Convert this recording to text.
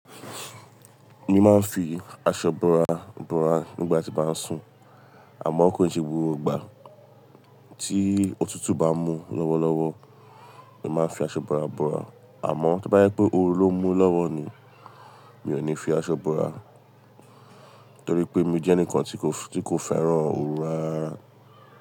Mo máa ń fi aṣọ búra búra nígbà tí n ba ń sùn. Àmọ́ kò ṣe gbogbo ìgbà. Tí òtútù bá mú lọ́wọ́lọ́wọ́, mo máa ń fi aṣọ búra búra. Àmọ́ to bá jẹ pé oru ló mú lọ́wọ́ ni, mi ò ní fi aṣọ búra. Torí pé mi jẹ́ ẹnìkan tí kò fẹ́ràn oru rárá.